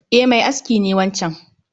E, mai aski ne wancan